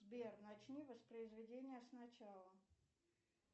сбер начни воспроизведение сначала